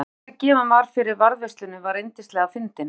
En ástæðan sem gefin var fyrir varðveislunni er yndislega fyndin